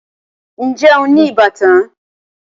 Ǹjẹ́ o ní ìbátan?